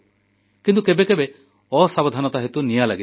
କିନ୍ତୁ କେବେ କେବେ ଅସାବଧାନତା ହେତୁ ନିଆଁ ଲାଗିଯାଏ